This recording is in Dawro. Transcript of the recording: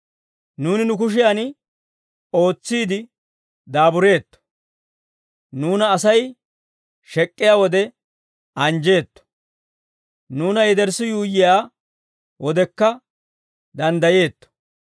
Nuuni nu kushiyan ootsiide daabureetto. Nuuna Asay shek'k'iyaa wode, anjjeetto. Nuuna yederssi yuuyyiyaa wodekka danddayeetto.